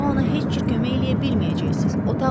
Daha ona heç kömək eləyə bilməyəcəksiz.